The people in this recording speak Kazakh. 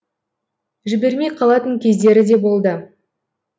жібермей қалатын кездері де болды